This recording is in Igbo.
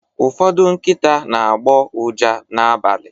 ụfọdụ nkịta na-agbọ ụja n’abalị